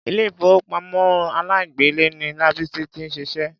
Ilé ìfowópamọ́ aláìgbèlé ni Lábísí ti ń ṣiṣẹ́.